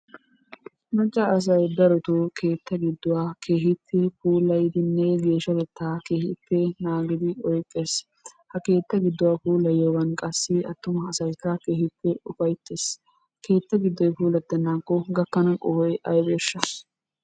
Macca asay darotto keetta gidduwaa keehippe daroppe puulayddinne geeshshatetta keehippe naagidi oyqqees. Ha keetta gidduwa puulayyiyooga qassi attumassaykka keehippe ufayttees. Keettaa giddoy puulatenakko gakkana qohoy aybbeshsha?